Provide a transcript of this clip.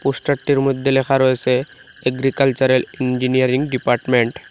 পোস্টারটির মইধ্যে লেখা রয়েছে এগ্রিকালচারাল ইঞ্জিনিয়ারিং ডিপার্টমেন্ট ।